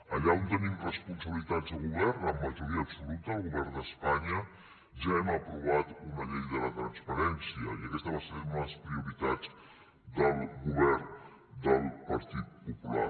allà on tenim responsabilitats de govern amb majoria absoluta al govern d’espanya ja hem aprovat una llei de la transparència i aquesta va ser una de les prioritats del govern del partit popular